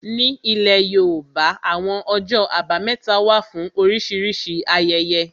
Ní ilẹ̀ yóòbá, àwọn ọjọ́ àbámẹ́ta wà fún oríṣìíríṣìí ayẹyẹ